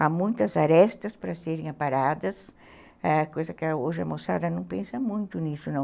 Há muitas arestas para serem aparadas, ãh, coisa que hoje a moçada não pensa muito nisso, não.